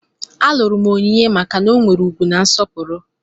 Alụrụ m Onyinye maka na ọ nwere ugwu na nsọpụrụ.